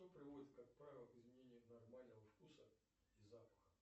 что приводит как правило к изменению нормального вкуса и запаха